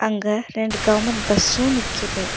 அங்க ரெண்டு government bus நிக்கிது.